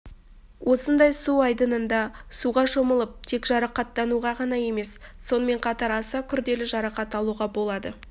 осындай су айдында суға шомылып тек жарақаттануға ғана емес сонымен қатар аса күрделі жарақат алуға болады